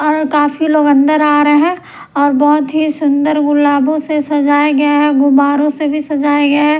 और काफी लोग अंदर आ रहे हैं और बहुत ही सुंदर गुलाबों से सजाए गए हैं गोबारों से भी सजाए गए हैं।